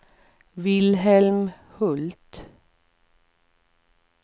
Wilhelm Hult